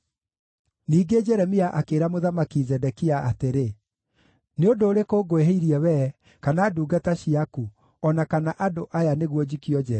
Ningĩ Jeremia akĩĩra Mũthamaki Zedekia atĩrĩ, “Nĩ ũndũ ũrĩkũ ngwĩhĩtie we mwene, kana ndungata ciaku, o na kana andũ aya, nĩguo njikio njeera?